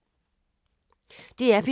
DR P2